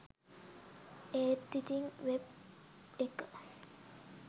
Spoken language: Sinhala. ඒත් ඉතිං වෙබ් එක